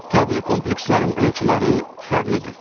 Təbii komplekslərin ölçüləri fərqlidir.